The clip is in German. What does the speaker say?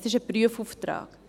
Es ist ein Prüfauftrag.